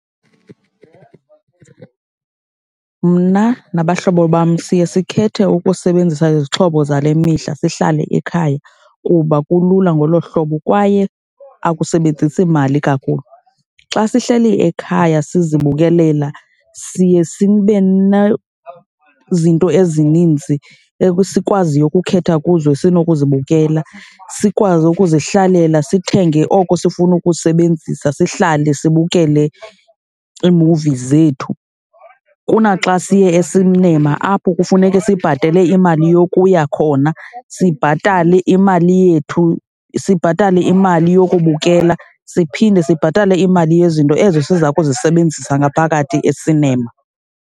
Mna nabahlobo bam siye sikhethe ukusebenzisa izixhobo zale mihla, sihlale ekhaya kuba kulula ngolo hlobo kwaye akusebenzisi mali kakhulu. Xa sihleli ekhaya sizibukelele, siye sibe nezinto ezininzi esikwaziyo ukukhetha kuzo esinokuzibukela, sikwazi ukuzihlalela sithenge oko sifuna ukusebenzisa. Sihlale sibukele iimuvi zethu kunaxa siye esinema apho kufuneke sibhatale imali yokuya khona, sibhatale imali yethu, sibhatale imali yokubukela, siphinde sibhatale imali yezinto ezo siza kuzisebenzisa ngaphakathi esinema.